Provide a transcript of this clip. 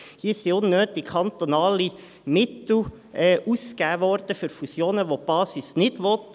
Hier wurden unnötig kantonale Mittel für Fusionen ausgegeben, welche die Basis nicht will.